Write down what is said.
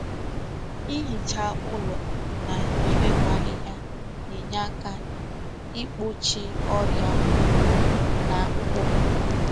Ịhicha ụlọ na iwepụ ahịhịa na-enye aka igbochi ọrịa ụkwụ na akpụkpụ